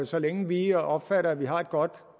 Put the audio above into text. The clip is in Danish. så længe vi opfatter at vi har et godt